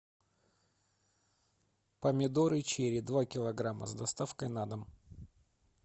помидоры чери два килограмма с доставкой на дом